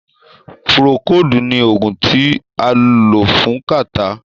Púrókòodu ní oògùn tí a lò fún kàtá.